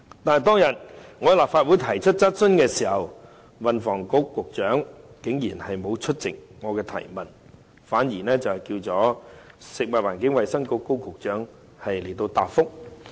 可是，當天我在立法會提出質詢的時候，運輸及房屋局局長竟然沒有出席回答我的質詢，反而由食物及衞生局的高局長作出答覆。